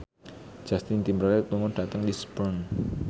Justin Timberlake lunga dhateng Lisburn